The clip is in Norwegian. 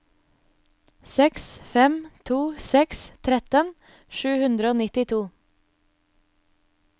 seks fem to seks tretten sju hundre og nittito